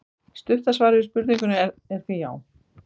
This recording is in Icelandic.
Stutta svarið við spurningunni er því já!